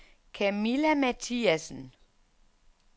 Kamilla Mathiasen